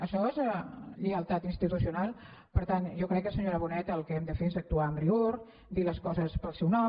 això és lleialtat institucional per tant jo crec que senyora bonet el que hem de fer és actuar amb rigor dir les coses pel seu nom